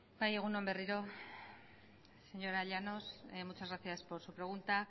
bai egun on berriro señora llanos muchas gracias por su pregunta